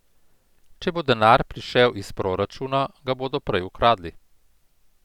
Če bo denar prišel iz proračuna, ga bodo prej ukradli.